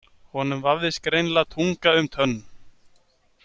Honum vafðist greinilega tunga um tönn.